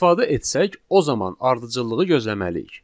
İstifadə etsək, o zaman ardıcıllığı gözləməliyik.